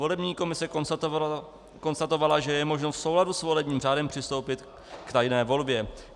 Volební komise konstatovala, že je možno v souladu s volebním řádem přistoupit k tajné volbě.